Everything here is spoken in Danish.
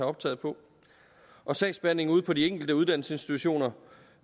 optaget på og sagsbehandlingen ude på de enkelte uddannelsesinstitutioner